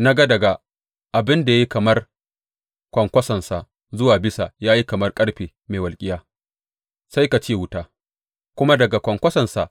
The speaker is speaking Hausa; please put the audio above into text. Na ga daga abin da ya yi kamar kwankwasonsa zuwa bisa ya yi kamar ƙarfe mai walƙiya, sai ka ce wuta, kuma daga kwankwasonsa